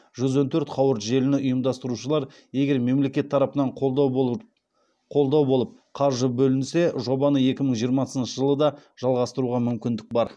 жүз он төрт қауырт желіні ұйымдастырушылар егер мемлекет тарапынан қолдау болып қаржы бөлінсе жобаны екі мың жиырмасыншы жылы да жалғастыруға мүмкіндік бар